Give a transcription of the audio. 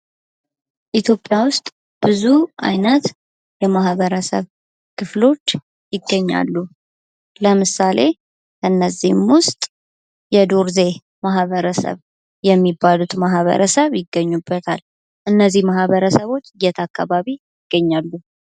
ኢትዮጵያ ውስጥ ብዙ አይነት የማኅበረሰብ ክፍሎች ይገኛሉ፤ ለምሳሌ እነዚህም ውስጥ የዶርዜ ማህበረሰብ የሚባሉት ማህበረሰብ ይገኙበታል። እነዚህ ማኅበረሰቦች የት አካባቢ ይገኛሉ?